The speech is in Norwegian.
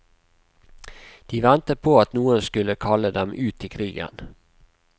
De ventet på at noen skulle kalle dem ut i krigen.